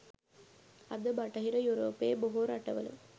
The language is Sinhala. අද බටහිර යුරෝපයේ බොහෝ රටවල